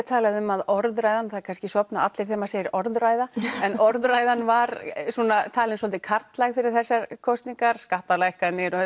talað um að orðræða það kannski sofna allir þegar maður segir orðræða en orðræðan var talin svolítið karllæg fyrir þesasr kosningar skattalækkanir og